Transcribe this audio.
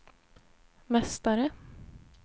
mästare